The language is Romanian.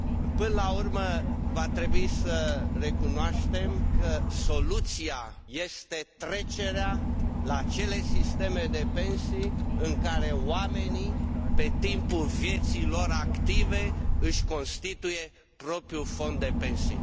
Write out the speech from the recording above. Până la urmă va trebui să recunoaștem că soluția este trecerea la acele sisteme de pensii în care oamenii pe timpul vieții lor active își constituie propriul fond de pensii.